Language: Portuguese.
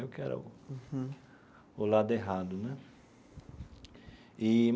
Eu que era o o lado errado né eee.